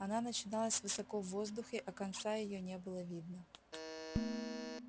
она начиналась высоко в воздухе а конца её не было видно